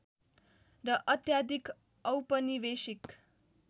र अत्याधिक औपनिवेशिक